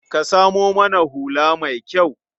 Ka samo mana hula mai kyau.